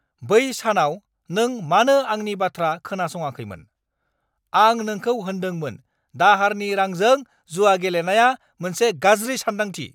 बै सानाव नों मानो आंनि बाथ्रा खोनासङाखैमोन? आं नोंखौ होन्दोंमोन दाहारनि रांजों जुआ गेलेनाया मोनसे गाज्रि सानदांथि।